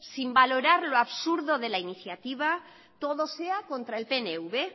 sin valorar lo absurdo de la iniciativa todo sea contra el pnv